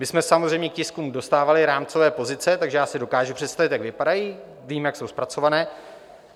My jsme samozřejmě k tiskům dostávali rámcové pozice, takže já si dokážu představit, jak vypadají, vím, jak jsou zpracované.